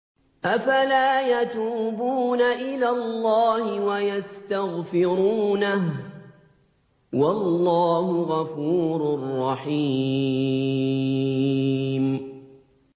أَفَلَا يَتُوبُونَ إِلَى اللَّهِ وَيَسْتَغْفِرُونَهُ ۚ وَاللَّهُ غَفُورٌ رَّحِيمٌ